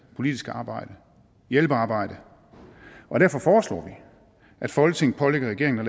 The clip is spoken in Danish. politisk arbejde hjælpearbejde derfor foreslår vi at folketinget pålægger regeringen at